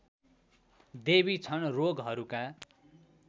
देवी छन् रोगहरूका